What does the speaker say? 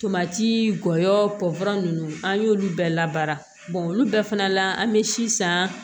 Tomati gɔyɔ ninnu an y'olu bɛɛ labaara olu bɛɛ fana la an bɛ si san